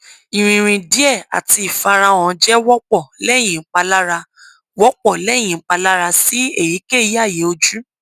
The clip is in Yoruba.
ìrìn rìn díẹ̀ àti ìfarahàn jẹ́ wọ́pọ̀ lẹ́yìn ìpalára wọ́pọ̀ lẹ́yìn ìpalára sí èyíkéyìí àyè ojú